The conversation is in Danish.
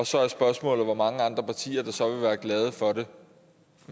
så er spørgsmålet hvor mange andre partier der så vil være glade for det